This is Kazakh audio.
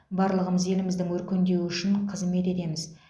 барлығымыз еліміздің өркендеуі үшін қызмет етеміз